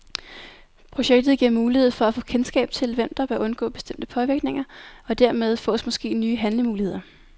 Projektet giver mulighed for at få kendskab til, hvem der bør undgå bestemte påvirkninger, og dermed fås måske nye handlemuligheder.